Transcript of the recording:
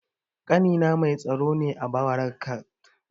Ƙanina mai tsaro ne a barakat sto